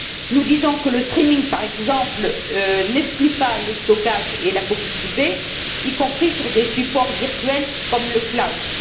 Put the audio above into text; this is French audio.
Nous pensons que le streaming par exemple, n'exclut pas le stockage et la copie privée, y compris sur des supports virtuels comme le cloud